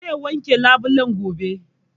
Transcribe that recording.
Zai wanke labulen gobe